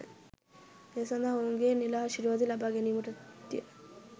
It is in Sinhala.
ඒ සඳහා ඔවුන්ගේ නිල ආශිර්වාදය ලබා ගැනීමටත්ය.